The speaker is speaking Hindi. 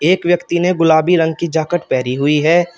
एक व्यक्ति ने गुलाबी रंग की जैकेट पहरी हुई है।